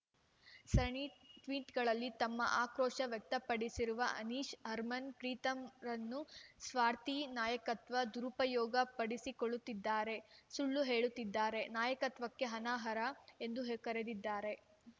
ಸಣಿ ಟ್ವೀಟ್‌ಗಳಲ್ಲಿ ತಮ್ಮ ಆಕ್ರೋಶ ವ್ಯಕ್ತಪಡಿಸಿರುವ ಅನಿಶ್ ಹರ್ಮನ್‌ಪ್ರೀತ್‌ರನ್ನು ಸ್ವಾರ್ಥಿ ನಾಯಕತ್ವ ದುರಪಯೋಗ ಪಡಿಸಿಕೊಳ್ಳುತ್ತಿದ್ದಾರೆ ಸುಳ್ಳು ಹೇಳುತ್ತಿದ್ದಾರೆ ನಾಯಕತ್ವಕ್ಕೆ ಅನಹರ ಎಂದು ಕರೆದಿದ್ದಾರೆ